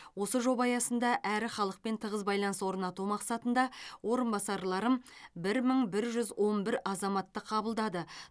осы жоба аясында әрі халықпен тығыз байланыс орнату мақсатында орынбасарларым бір мың бір жүз он бір азаматты қабылдады